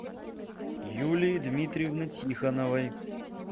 юлии дмитриевны тихоновой